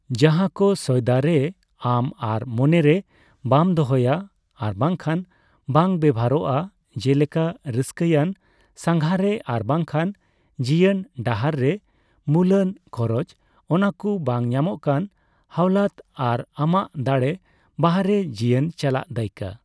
ᱡᱟᱦᱟ ᱠᱚ ᱥᱚᱭᱫᱟᱨᱮ ᱟᱢ ᱟᱨ ᱢᱚᱱᱮ ᱨᱮ ᱵᱟᱢ ᱫᱚᱦᱚᱭᱟ ᱟᱨᱵᱟᱝᱠᱷᱟᱱ ᱵᱟᱝ ᱵᱮᱵᱦᱟᱨᱚᱜᱼᱟ, ᱡᱮᱞᱮᱠᱟ ᱨᱟᱹᱥᱠᱟᱹᱣᱟᱱ, ᱥᱟᱝᱜᱷᱟᱨᱮ ᱟᱨᱵᱟᱝᱠᱷᱟᱱ ᱡᱤᱭᱟᱹᱱ ᱰᱟᱦᱟᱨᱮ ᱢᱩᱞᱟᱱ ᱠᱷᱚᱨᱚᱪ, ᱚᱱᱟᱠᱩ ᱵᱟᱝ ᱧᱟᱢᱚᱜᱠᱟᱱ ᱦᱟᱣᱞᱟᱛ ᱟᱨ ᱟᱢᱟᱜ ᱫᱟᱲᱮ ᱵᱟᱨᱦᱮ ᱡᱤᱭᱟᱹᱱ ᱪᱟᱞᱟᱜ ᱫᱟᱭᱠᱟᱹ᱾